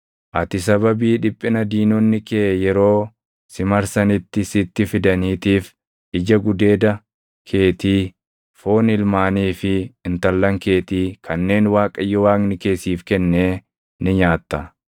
Ati sababii dhiphina diinonni kee yeroo si marsanitti sitti fidaniitiif ija gudeeda keetii, foon ilmaanii fi intallan keetii kanneen Waaqayyo Waaqni kee siif kennee ni nyaatta.